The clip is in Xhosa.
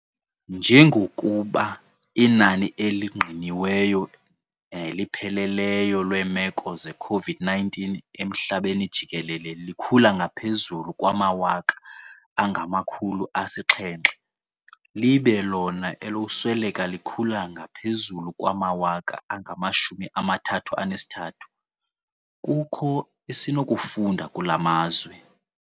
Njengokuba inani elingqiniweyo elipheleleyo lweemeko ze-COVID-19 ehlabathini jikelele likhula ngaphezulu kwamawaka angama-700 libe lona elokusweleka likhula ngaphezulu kwamawaka angama-33, kukho esinokufunda kula mazwe.